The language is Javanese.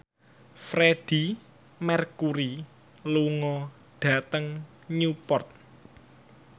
Freedie Mercury lunga dhateng Newport